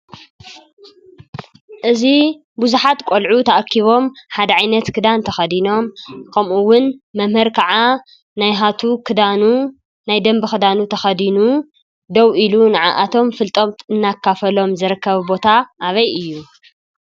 እዚ ብዙሓት ቆልዑ ተአኪቦም ሓደ ዓይነት ክዳን ተኸዲኖም ከምኡ እውን መምህር ከዓ ናሃቱ ኽዳኑ ናይ ደንቢ ኽዳኑ ተኸዲኑ ደው ኢሉ ነዓዓቶም ፍለጠት እናካፈሎም ዝርከብ ቦታ አበይ እዩ?